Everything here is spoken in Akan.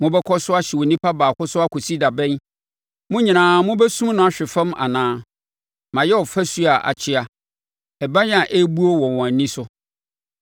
Mobɛkɔ so ahyɛ onipa baako so akɔsi da bɛn? Mo nyinaa mobɛsum no ahwe fam anaa? Mayɛ ɔfasuo a akyea, ɛban a ɛrebuo wɔ wɔn ani so.